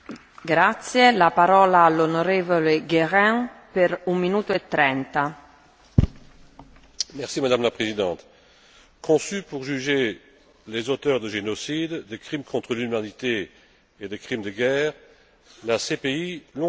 Madame la Présidente, conçue pour juger les auteurs de génocides, de crimes contre l'humanité et de crimes de guerre, la CPI, longtemps attendue, constitue un début de réponse aux victimes qui réclamaient trop souvent, et vainement, hélas, réparation et justice.